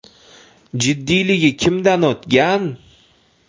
Jiddiyligi kimdan o‘tgan?